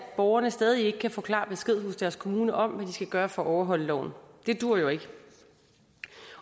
borgerne stadig ikke kan få klar besked hos deres kommune om hvad de skal gøre for at overholde loven det duer jo ikke